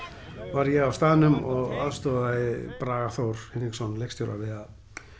var ég á staðnum og aðstoðaði Braga Þór Hinriksson leikstjóra við að